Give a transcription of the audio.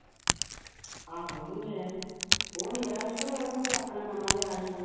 ਆਹੋ ਉਹ ਵੀ ਮਿਲਿਆ ਸੀ, ਉਹ ਮੇਰਾ ਸੀ ਤੇ ਉਹਨੇ ਤੇ ਆਪਣਾ ਨਵਾਂ ਲਿਆ ਸੀਗਾ